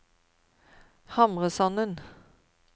Hamresanden